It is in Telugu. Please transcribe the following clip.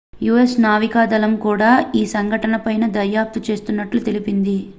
us నావికాదళం కూడా ఈ సంఘటనపై దర్యాప్తు చేస్తున్నట్లు తెలిపింది